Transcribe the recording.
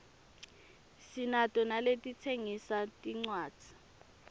sinato naletitsengisa tincuadzi